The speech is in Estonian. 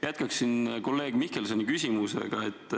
Jätkaksin kolleeg Mihkelsoni küsimust.